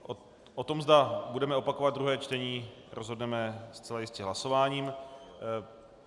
O tom, zda budeme opakovat druhé čtení, rozhodneme zcela jistě hlasováním.